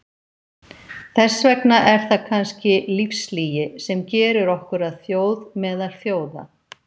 Þess vegna er það kannski lífslygi sem gerir okkur að þjóð meðal þjóða.